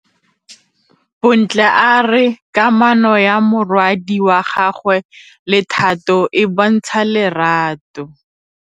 Bontle a re kamanô ya morwadi wa gagwe le Thato e bontsha lerato.